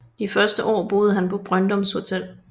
De første år boede han på Brøndums Hotel